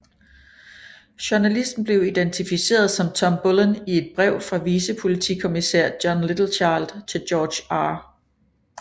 Journalisten blev identificeret som Tom Bullen i et brev fra vicepolitikommissær John Littlechild til George R